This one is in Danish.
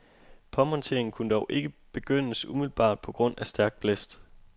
Påmonteringen kunne dog ikke begyndes umiddelbart på grund af stærk blæst.